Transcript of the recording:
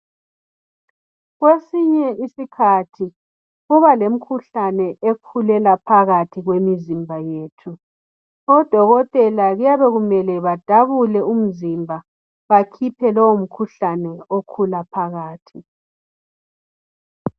Kwesinye isikhathi kuba lemikhuhlane ekhulela phakathi kwemizimba yethu odokotela kuyabe kumele badabule umzimba bakhiphe lowomkhuhlane okhula phakathi.